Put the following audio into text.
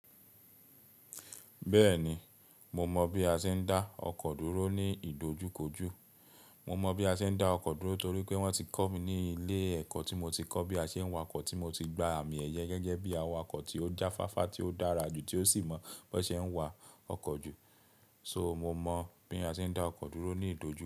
Bẹ́ẹ̀ni, mo mọ̀ bí a ṣe ń dá ọkọ̀ dúró ní ìdojúkojú. Mo mọ̀ bí a ṣe ń dá ọkọ̀ dúró torí pé wọ́n ti kọ́ mi ní ilé ẹ̀kọ́ tí mo ti kọ́ bí a ṣe ń wa ọkọ̀ tí mo ti gba àmì ẹ̀yẹ gẹ́gẹ́ bí awakọ̀ tí ó jáfáfá tí ó dára jù, tí ó sì mọ̀ bó ṣe ń wa ọkọ̀ jù. Mo mọ̀ bí a ṣe ń dá ọkọ̀ dúró ní ìdojú.